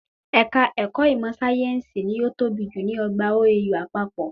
Ẹ̀ka ẹ̀kọ́ ìmọ̀ síáyẹ́nsì ni o tọ́ bi jù ní ọgbà OAU àpapọ̀